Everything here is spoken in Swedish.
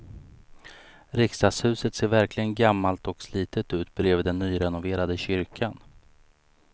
Riksdagshuset ser verkligen gammalt och slitet ut bredvid den nyrenoverade kyrkan.